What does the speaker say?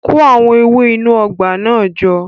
Kó àwọn ewé inú ọgbà náà jọ